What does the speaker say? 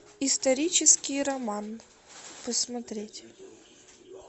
исторический роман посмотреть